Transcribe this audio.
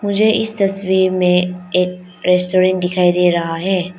मुझे इस तस्वीर में एक रेस्टोरेंट दिखाई दे रहा है।